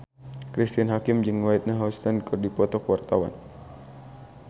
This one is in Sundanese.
Cristine Hakim jeung Whitney Houston keur dipoto ku wartawan